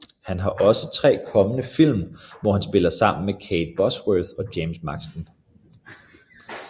Han har også tre kommende film hvor han spiller sammen med Kate Bosworth og James Marsden